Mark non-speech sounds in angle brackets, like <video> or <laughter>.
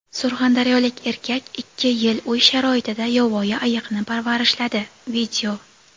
Surxondaryolik erkak ikki yil uy sharoitida yovvoyi ayiqni parvarishladi. <video>